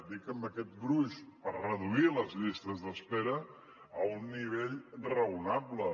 dic amb aquest gruix per reduir les llistes d’espera a un nivell raonable